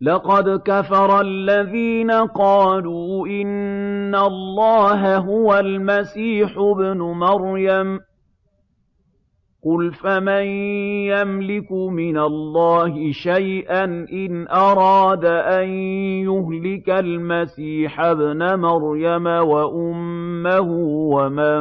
لَّقَدْ كَفَرَ الَّذِينَ قَالُوا إِنَّ اللَّهَ هُوَ الْمَسِيحُ ابْنُ مَرْيَمَ ۚ قُلْ فَمَن يَمْلِكُ مِنَ اللَّهِ شَيْئًا إِنْ أَرَادَ أَن يُهْلِكَ الْمَسِيحَ ابْنَ مَرْيَمَ وَأُمَّهُ وَمَن